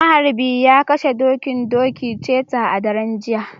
maharbi ya kashe, dokin doki, cheta a daren jiya